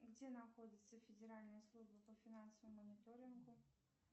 где находится федеральная служба по финансовому мониторингу